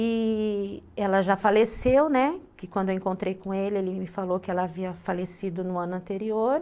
E ela já faleceu, né, que quando eu encontrei com ele, ele me falou que ela havia falecido no ano anterior.